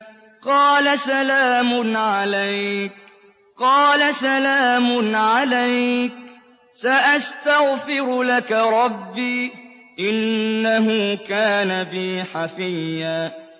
قَالَ سَلَامٌ عَلَيْكَ ۖ سَأَسْتَغْفِرُ لَكَ رَبِّي ۖ إِنَّهُ كَانَ بِي حَفِيًّا